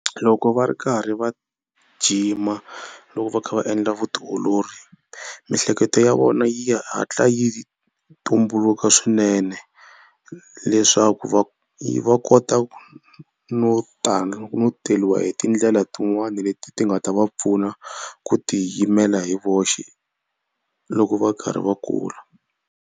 Loko va ri karhi va gym-a loko va kha va endla vutiolori miehleketo ya vona yi hatla yi tumbuluka swinene leswaku va va kota no no teriwa hi tindlela tin'wani leti ti nga ta va pfuna ku tiyimela hi voxe loko va karhi va kula.